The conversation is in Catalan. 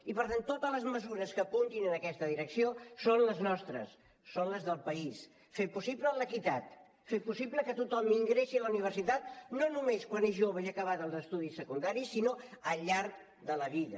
i per tant totes les mesures que apuntin en aquesta direcció són les nostres són les del país fer possible l’equitat fer possible que tothom ingressi a la universitat no només quan ets jove i acabats els estudis secundaris sinó al llarg de la vida